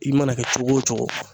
I mana kɛ cogo o cogo